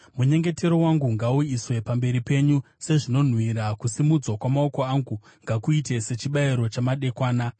Munyengetero wangu ngauiswe pamberi penyu sezvinonhuhwira; kusimudzwa kwamaoko angu ngakuite sechibayiro chamadekwana.